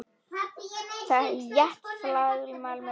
Þétt faðmlag með kossum.